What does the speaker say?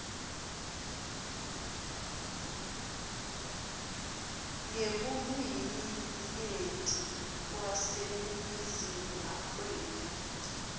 ngebulwiminyenti kwaseningizimu afrika